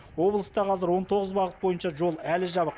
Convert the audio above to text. облыста қазір он тоғыз бағыт бойынша жол әлі жабық